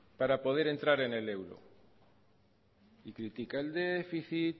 para poder entrar en el euro y critica el déficit